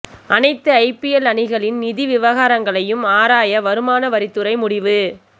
அனைத்து ஐபிஎல் அணிகளின் நிதி விவகாரங்களையும் ஆராய வருமான வரித்துறை முடிவு